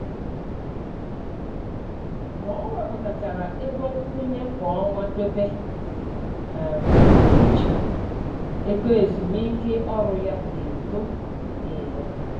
Ka o wepụtachara ego nkwụnye kwa ọnwa dobe um iche, ego ezumiike ọrụ ya na-eto mgbe niile.